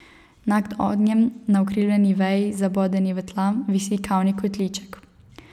Nad ognjem na ukrivljeni veji, zabodeni v tla, visi kavni kotliček.